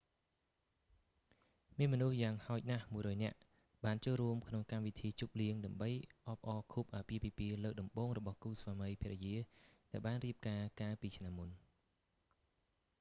មានមនុស្សយ៉ាងហោចណាស់ 100 នាក់ បានចូលរួមក្នុងកម្មវិធីជប់លៀង ដើម្បីអបអរខួបអាពាហ៍ពិពាហ៍លើកដំបូងរបស់គូស្វាមីភរិយា ដែលបានរៀបការកាលពីឆ្នាំមុន